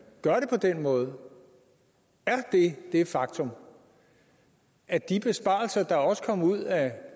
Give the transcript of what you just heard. gør det på den måde det faktum at de besparelser der også kom ud af